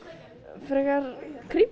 frekar